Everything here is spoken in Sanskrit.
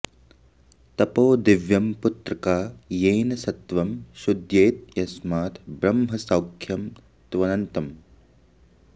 तपो दिव्यं पुत्रका येन सत्वं शुद्ध्येत् यस्मात् ब्रह्मसौख्यं त्वनन्तम्